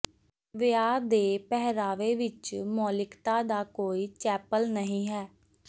ਵਿਆਹ ਦੇ ਪਹਿਰਾਵੇ ਵਿਚ ਮੌਲਿਕਤਾ ਦਾ ਕੋਈ ਚੈਪਲ ਨਹੀਂ ਹੈ